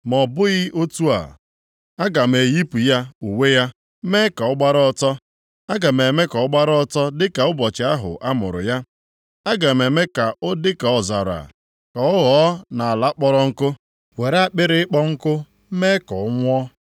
Ma ọ bụghị otu a, aga m eyipụ ya uwe ya mee ka ọ gbara ọtọ, aga m eme ka o gbara ọtọ dị ka nʼụbọchị ahụ a mụrụ ya. Aga m eme ya ka ọ dị ka ọzara, ka ọ ghọọ nʼala kpọrọ nkụ, were akpịrị ịkpọ nkụ mee ka ọ nwụọ.